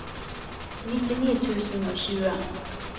nittini tusen og tjue